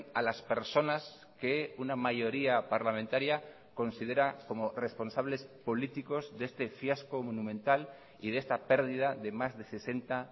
a las personas que una mayoría parlamentaria considera como responsables políticos de este fiasco monumental y de esta pérdida de más de sesenta